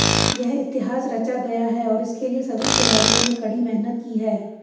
यह इतिहास रचा गया है और इसके लिए सभी खिलाडिय़ों ने कड़ी मेहनत की है